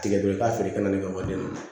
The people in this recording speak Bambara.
Tigɛ dɔrɔn i ka feere kɛ nali ka wari minɛ